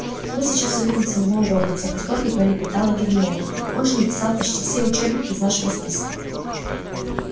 мы сейчас увидим самого локонса в восторге пролепетала гермиона он же написал почти все учебники из нашего списка